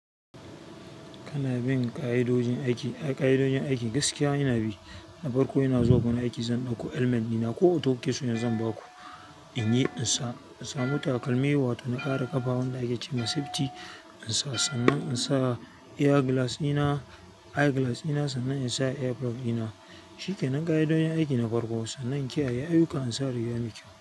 Kana bin ƙa'idojin aiki, ƙa'idodin aiki gaskiya ina bi. Na farko ina zuwa wurin aiki zan ɗauko helmet ɗina ko auto kes da zan ba ku, in yi in sa, in samu takalmi wato na ƙara ƙafa wanda ake ce ma safety, in sa sannan in sa eye glass ina, eye glass ina sannan in sa earplug ina. Shikenan ƙa'idodin aiki na farko sannan kiyaye ayuka in sare yanayi kyau.